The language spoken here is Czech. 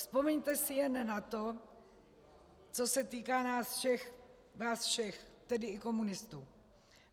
Vzpomeňte si jen na to, co se týká nás všech, vás všech, tedy i komunistů.